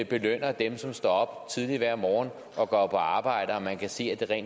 belønner dem som står tidligt op hver morgen og går på arbejde og så man kan se at det